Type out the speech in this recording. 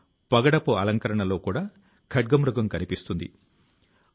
నేను ఇక్కడ కొన్ని ప్రయత్నాల ను గురించి మాత్రమే మాట్లాడాను